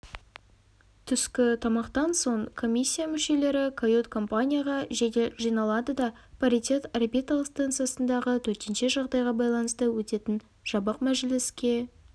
түскі тамақтан соң комиссия мүшелері кают-компанияға жедел жиналады да паритет орбиталық станциясындағы төтенше жағдайға байланысты өтетін жабық мәжіліске